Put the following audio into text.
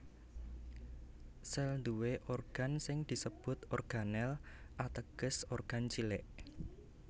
Sèl nduwé organ sing disebut organel ateges organ cilik